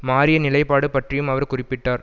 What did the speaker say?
மாறிய நிலைப்பாடு பற்றியும் அவர் குறிப்பிட்டார்